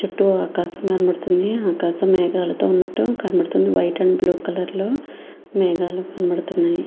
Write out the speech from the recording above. చుట్టూ ఆకాశం కనబడుతూ వుంది ఆకాశం అయతె వైట్ అండ్ బ్లూ కలర్ లో కనబడుతూ వుంది మేఘాలు కనబడుతూ వున్నాయ్.